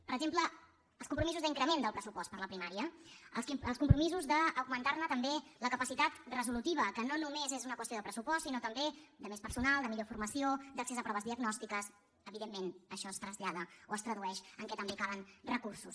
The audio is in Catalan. per exemple els compromisos d’increment del pressupost per a la primària els compromisos d’augmentar ne també la capacitat resolutiva que no només és una qüestió de pressupost sinó també de més personal de millor formació d’accés a proves diagnòstiques evidentment això es trasllada o es tradueix en el fet que també calen recursos